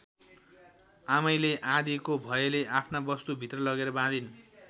आमैले आँधीको भयले आफ्ना वस्तु भित्र लगेर बाँधिन्।